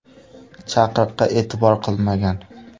chaqiriqqa e’tibor qilmagan.